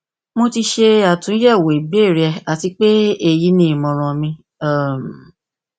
mo ti ṣe atunyẹwo ibeere rẹ ati pe eyi ni imọran mi um